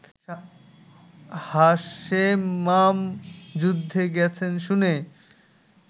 হাশেমমাম যুদ্ধে গেছেন শুনে